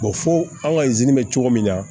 fo an ka izini bɛ cogo min na